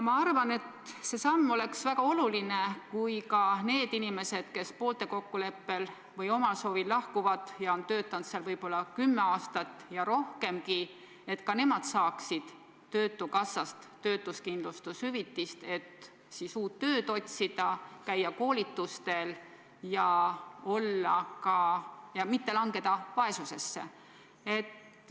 Ma arvan, et oleks väga oluline, kui ka need inimesed, kes poolte kokkuleppel või omal soovil lahkuvad, olles töötanud näiteks kümme aastat ja rohkemgi, saaksid töötukassast töötuskindlustushüvitist, et uut tööd otsida ja käia koolitustel, ega langeks vaesusesse.